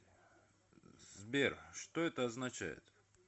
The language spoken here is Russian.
сбер что это означает